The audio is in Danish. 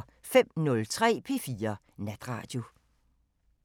05:03: P4 Natradio